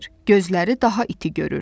Gözləri daha iti görür.